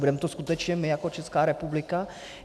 Budeme to skutečně my jako Česká republika?